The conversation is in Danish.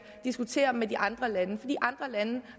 diskutere med de andre lande for de andre lande